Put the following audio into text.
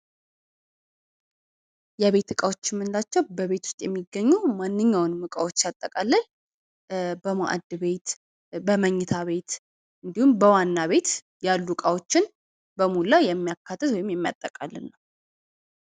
የቤት እቃዎች የምንላቸው በቤት ውስጥ የሚገኙ ማንኛውንም እቃዎች ሲያጠቃልል በመአድ ቤት በመኝታ ቤት እንድሁም በዋና ቤት ያሉ እቃዎችን በሞላ የሚያካትት ወይም የሚያጠቃልል ነው።